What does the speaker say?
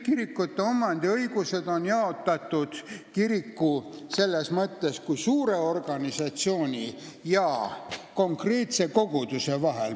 Kirikute omandiõigus on jaotatud kiriku kui suure organisatsiooni ja konkreetse koguduse vahel.